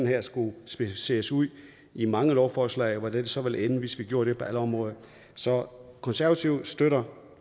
her skulle specificeres ud i mange lovforslag hvordan det så ville ende hvis vi gjorde det på alle områder så konservative støtter